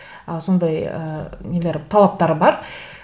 ы сондай ы нелері талаптары бар